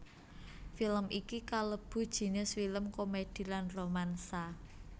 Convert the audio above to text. Film iki kalebu jinis film komèdi lan romansa